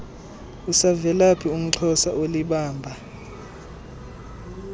usavelaphi umxhosa olibamba